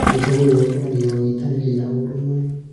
Ũndũ ũyũ ũkũragia ũnyitanĩri na ũrũmwe.